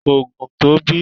ko gùn tó bẹ